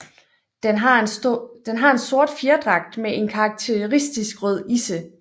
Den har en sort fjerdragt med en karakteristisk rød isse